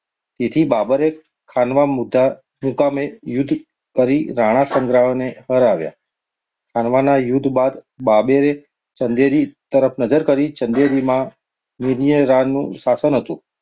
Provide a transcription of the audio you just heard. તેથી બાબરે ખાનવા મુકામે યુદ્ધ કરી રાણા સંગને હરાવ્યા. ખણવાના યુદ્ધ બાદ બાબરે ચંદેરી તરફ નજર કરી. ચાંદેરીના મેદનીરાયનું શાસન હતું.